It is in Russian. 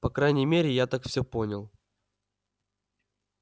по крайней мере я так всё понял